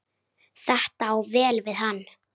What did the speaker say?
Þetta á vel við hann.